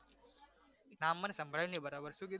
નામ મને સંભળાયુ નહિ બરાબર શું કીધુ?